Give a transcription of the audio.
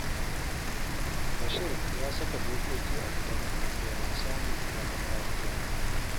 Bashir ya saka dokoki a gidanmu domin samun zaman lafiya